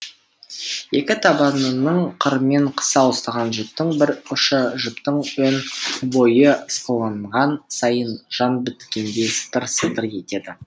екі табанының қырымен қыса ұстаған жіптің бір ұшы жіптің өн бойы ысқыланған сайын жан біткендей сытыр сытыр етеді